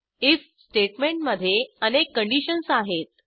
if स्टेटमेंटमधे अनेक conditions आहेत